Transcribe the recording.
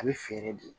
A bɛ feere de